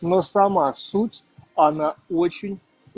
но сама суть она очень